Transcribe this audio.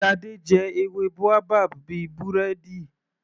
Shade jẹ ewé boabab bíi búrẹ́dì.